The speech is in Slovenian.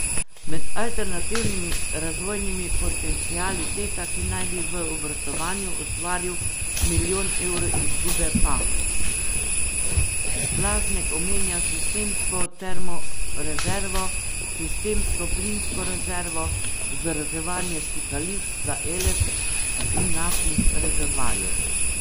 Med alternativnimi razvojnimi potenciali Teta, ki naj bi v obratovanju ustvaril milijon evrov izgube, pa Blaznek omenja sistemsko termorezervo, sistemsko plinsko rezervo, vzdrževanje stikališč za Eles in naftnih rezervoarjev.